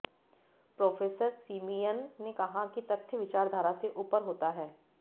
professor Simeon ने कहा कि तथ्य विचारधारा से ऊपर होता है